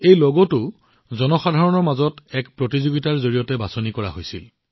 এই লগটো ৰাজহুৱা প্ৰতিযোগিতাৰ জৰিয়তে বাছনি কৰা হৈছিল